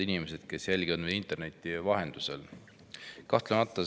Head inimesed, kes te jälgite meid interneti vahendusel!